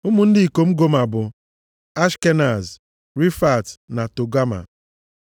Ụmụ ndị ikom Goma bụ: Ashkenaz, Rifat na Togama.